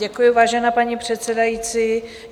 Děkuji, vážená paní předsedající.